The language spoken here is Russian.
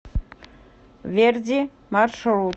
верди маршрут